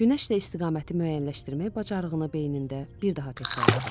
Günəşdə istiqaməti müəyyənləşdirmək bacarığını beynində bir daha təkrarladı.